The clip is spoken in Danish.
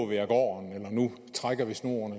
vi af gården eller nu trækker vi snoren